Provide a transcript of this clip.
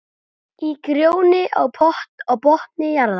Í gróðri á botni jarðar.